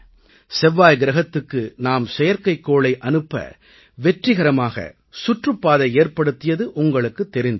செவ்வாய் கிரஹத்துக்கு நாம் செயற்கைக்கோளை அனுப்ப வெற்றிகரமாக சுற்றுப்பாதை ஏற்படுத்தியது உங்களுக்குத் தெரிந்திருக்கும்